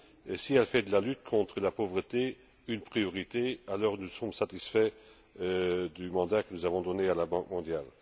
Et si elle fait de la lutte contre la pauvreté une priorité, nous serons satisfaits du mandat que nous avons donné à la Banque mondiale.